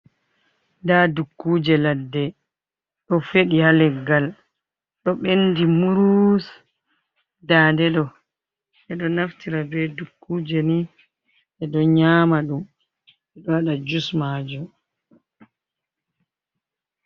Nda dukkuje ladde ɗo feɗi ha leggal ɗo ɓendi murus, nda ɗeɗo ɓeɗo naftira be dukkuje ni ɗeɗo nyama ɗum ɓe waɗa jus majum.